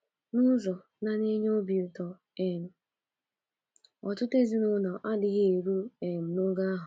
N’ụzọ na na - enye obi um ụtọ, ọtụtụ ezinụlọ adịghị eru um n’ogo ahụ.